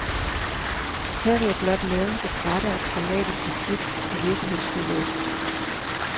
Her vil jeg blot nævne det bratte og traumatiske skift i virkelighedsbilledet.